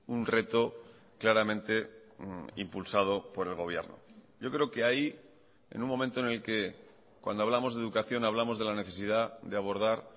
un reto claramente impulsado por el gobierno yo creo que ahí en un momento en el que cuando hablamos de educación hablamos de la necesidad de abordar